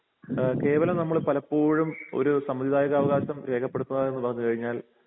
ഏഹ് കേവലം നമ്മള് പലപ്പോഴും ഒരു സമ്മതിദായക അവകാശം രേഖപ്പെടുത്തുക എന്നു പറഞ്ഞു കഴിഞ്ഞാൽ